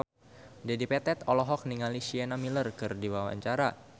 Dedi Petet olohok ningali Sienna Miller keur diwawancara